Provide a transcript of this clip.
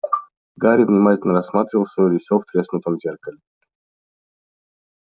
гарри внимательно рассматривал своё лицо в треснутом зеркале